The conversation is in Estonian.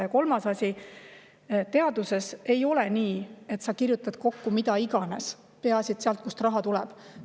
Ja kolmas asi: teaduses ei ole nii, et sa kirjutad kokku mida iganes, peaasi et raha tuleb.